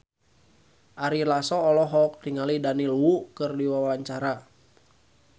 Ari Lasso olohok ningali Daniel Wu keur diwawancara